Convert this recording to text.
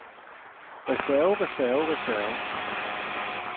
reserve reserve reserve